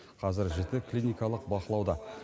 қазір жіті клиникалық бақылауда